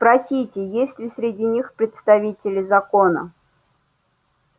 спросите есть ли среди них представители закона